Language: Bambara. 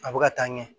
A bɛ ka taa ɲɛ